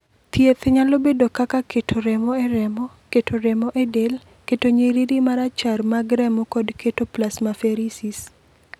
"Thieth nyalo bedo kaka keto remo e remo, keto remo e del, keto nyiriri marachar mag remo kod keto plasmaferesis."